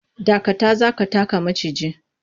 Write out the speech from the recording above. Dakata! za ka taka maciji.